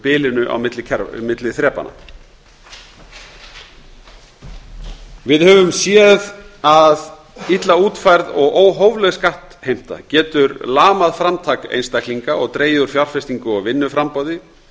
bilinu á milli þrepanna við höfum séð að illa útfærð og óhófleg skattheimta getur lamað framtak einstaklinga og dregur úr fjárfestingu og vinnuframboði